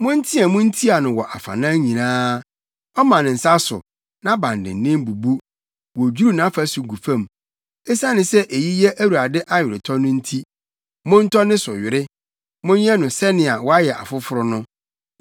Monteɛ mu ntia no wɔ afanan nyinaa! Ɔma ne nsa so, nʼabandennen bubu, wodwiriw nʼafasu gu fam. Esiane sɛ eyi yɛ Awurade aweretɔ no nti, montɔ ne so were; monyɛ no sɛnea wayɛ afoforo no.